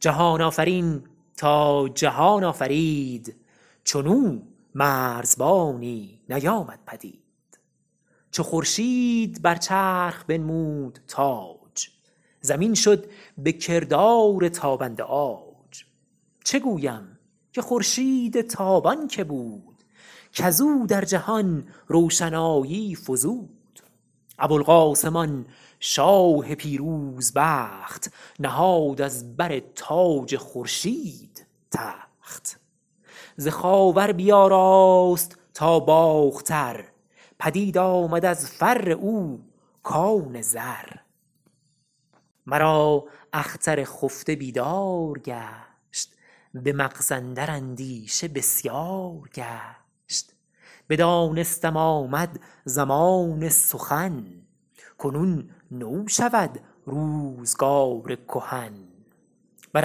جهان آفرین تا جهان آفرید چون او مرزبانی نیامد پدید چو خورشید بر چرخ بنمود تاج زمین شد به کردار تابنده عاج چه گویم که خورشید تابان که بود کز او در جهان روشنایی فزود ابوالقاسم آن شاه پیروز بخت نهاد از بر تاج خورشید تخت ز خاور بیاراست تا باختر پدید آمد از فر او کان زر مرا اختر خفته بیدار گشت به مغز اندر اندیشه بسیار گشت بدانستم آمد زمان سخن کنون نو شود روزگار کهن بر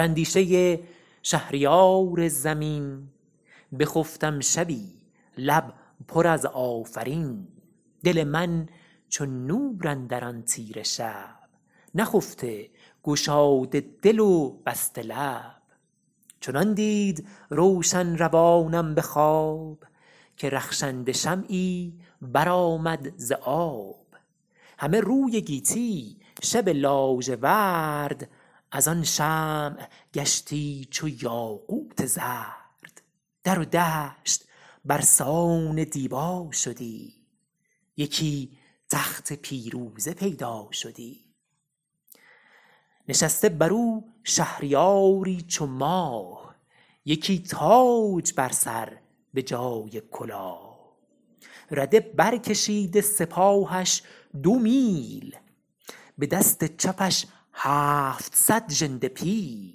اندیشه شهریار زمین بخفتم شبی لب پر از آفرین دل من چو نور اندر آن تیره شب نخفته گشاده دل و بسته لب چنان دید روشن روانم به خواب که رخشنده شمعی بر آمد ز آب همه روی گیتی شب لاژورد از آن شمع گشتی چو یاقوت زرد در و دشت بر سان دیبا شدی یکی تخت پیروزه پیدا شدی نشسته بر او شهریاری چو ماه یکی تاج بر سر به جای کلاه رده بر کشیده سپاهش دو میل به دست چپش هفتصد ژنده پیل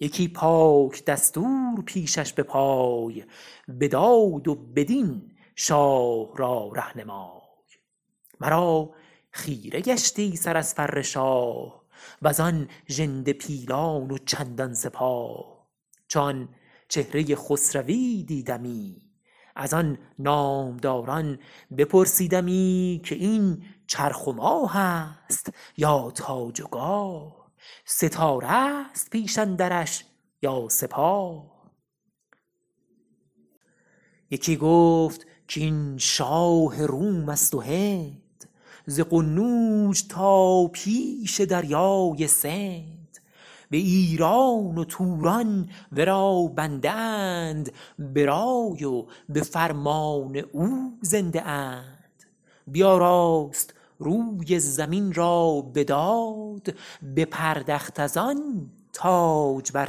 یکی پاک دستور پیشش به پای به داد و به دین شاه را رهنمای مرا خیره گشتی سر از فر شاه و زان ژنده پیلان و چندان سپاه چو آن چهره خسروی دیدمی از آن نامداران بپرسیدمی که این چرخ و ماه است یا تاج و گاه ستاره است پیش اندرش یا سپاه یکی گفت کاین شاه روم است و هند ز قنوج تا پیش دریای سند به ایران و توران ورا بنده اند به رای و به فرمان او زنده اند بیاراست روی زمین را به داد بپردخت از آن تاج بر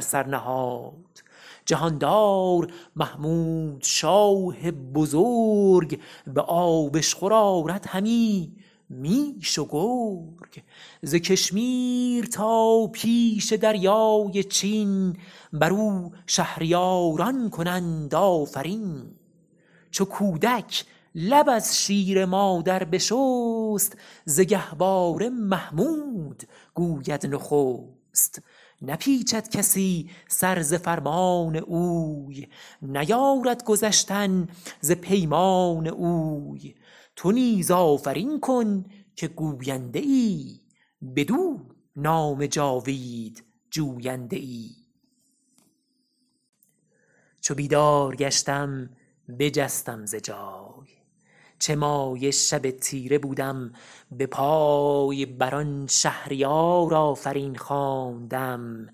سر نهاد جهاندار محمود شاه بزرگ به آبشخور آرد همی میش و گرگ ز کشمیر تا پیش دریای چین بر او شهریاران کنند آفرین چو کودک لب از شیر مادر بشست ز گهواره محمود گوید نخست نپیچد کسی سر ز فرمان اوی نیارد گذشتن ز پیمان اوی تو نیز آفرین کن که گوینده ای بدو نام جاوید جوینده ای چو بیدار گشتم بجستم ز جای چه مایه شب تیره بودم به پای بر آن شهریار آفرین خواندم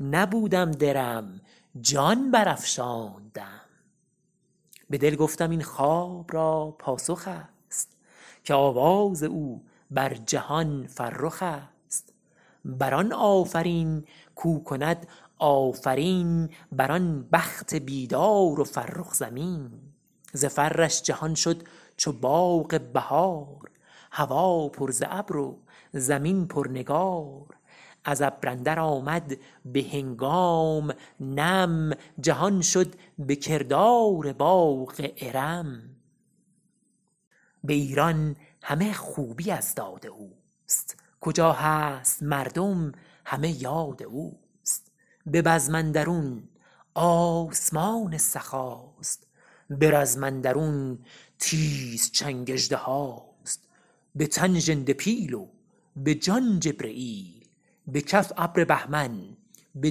نبودم درم جان بر افشاندم به دل گفتم این خواب را پاسخ است که آواز او بر جهان فرخ است بر آن آفرین کو کند آفرین بر آن بخت بیدار و فرخ زمین ز فرش جهان شد چو باغ بهار هوا پر ز ابر و زمین پر نگار از ابر اندر آمد به هنگام نم جهان شد به کردار باغ ارم به ایران همه خوبی از داد اوست کجا هست مردم همه یاد اوست به بزم اندرون آسمان سخاست به رزم اندرون تیز چنگ اژدهاست به تن ژنده پیل و به جان جبرییل به کف ابر بهمن به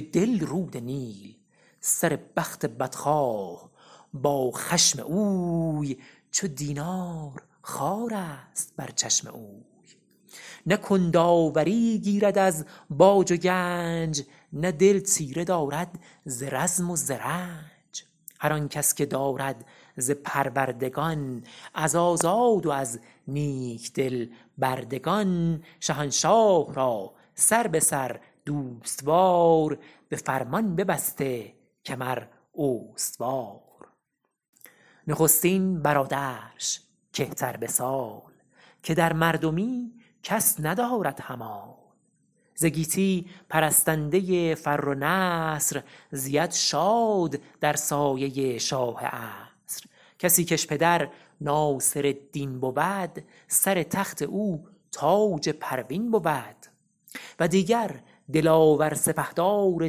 دل رود نیل سر بخت بدخواه با خشم اوی چو دینار خوارست بر چشم اوی نه کند آوری گیرد از باج و گنج نه دل تیره دارد ز رزم و ز رنج هر آن کس که دارد ز پروردگان از آزاد و از نیک دل بردگان شهنشاه را سر به سر دوست وار به فرمان ببسته کمر استوار نخستین برادرش که تر به سال که در مردمی کس ندارد همال ز گیتی پرستنده فر و نصر زید شاد در سایه شاه عصر کسی کش پدر ناصرالدین بود سر تخت او تاج پروین بود و دیگر دلاور سپهدار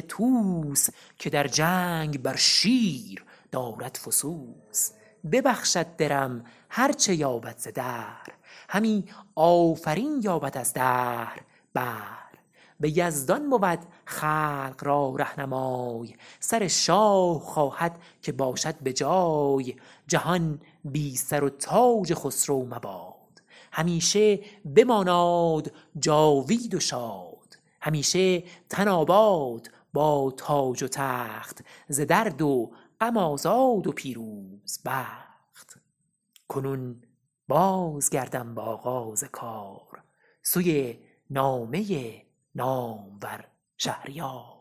طوس که در جنگ بر شیر دارد فسوس ببخشد درم هر چه یابد ز دهر همی آفرین یابد از دهر بهر به یزدان بود خلق را رهنمای سر شاه خواهد که باشد به جای جهان بی سر و تاج خسرو مباد همیشه بماناد جاوید و شاد همیشه تن آباد با تاج و تخت ز درد و غم آزاد و پیروز بخت کنون باز گردم به آغاز کار سوی نامه نامور شهریار